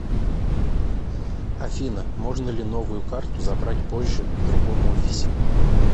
афина можно ли новую карту забрать позже в другом офисе